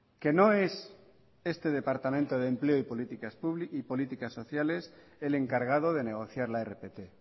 que no es este departamento de empleo y políticas sociales el encargado de negociar la rpt